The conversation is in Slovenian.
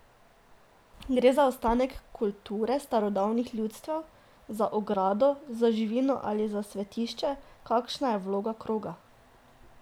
Gre za ostanek kulture starodavnih ljudstev, za ogrado za živino ali za svetišče, kakšna je vloga kroga?